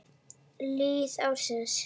Lið ársins